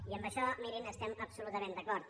i en això mirin estem absolutament d’acord